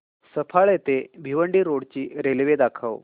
सफाळे ते भिवंडी रोड ची रेल्वे दाखव